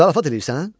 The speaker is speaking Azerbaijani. Zarafat eləyirsən?